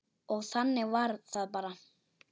Og þannig var það bara.